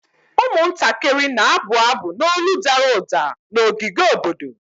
Ụmụntakịrị na-abụ abụ n'olu dara ụda na ogige obodo.